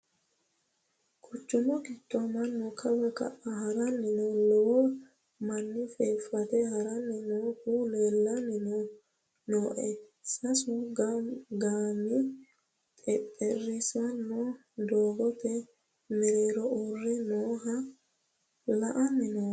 Quchumu giddo mannu kawa ka"a harani noo lowo manni feefate haranni noohu leellanni nooe sasu gomi xexerisino doogote mereero uurre nooha la"anni noommo.